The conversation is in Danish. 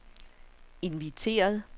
inviteret